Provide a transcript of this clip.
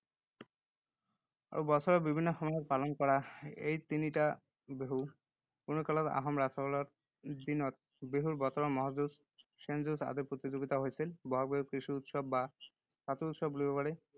আৰু বছৰৰ বিভিন্ন সময়ত পালন কৰা এই তিনিটা বিহু, পুৰণি কালত আহোম ৰাজসকলৰ দিনত বিহুৰ বতৰত ম’হ যুঁজ, শেন যুঁজ আদিৰ প্ৰতিযোগিতা হৈছিল। বহাগ বিহুক কৃষি উৎসৱ বা খাতু উৎসৱ বুলিব পাৰি।